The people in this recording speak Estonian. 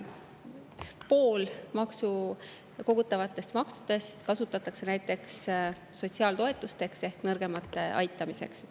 Pool kogutavatest kasutatakse näiteks sotsiaaltoetusteks ehk nõrgemate aitamiseks.